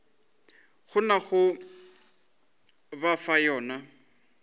kgonago go ba fa yona